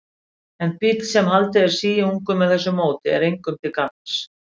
En bíll, sem haldið er síungum með þessu móti, er engum til gagns.